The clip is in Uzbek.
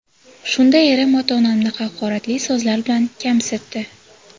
Shunda erim ota-onamni haqoratli so‘zlar bilan kamsitdi.